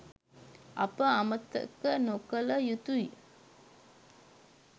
අප අමතක නොකළ යුතුයි